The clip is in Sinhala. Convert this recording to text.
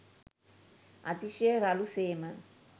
අතිශය රළු සේම